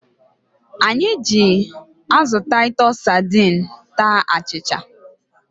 Anyị ji azụ Taịtus sadiin taa achịcha.